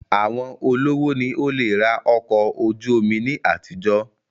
Àwọn olówó ni ó le rà ọkọ̀ ojú omi ní àtijọ́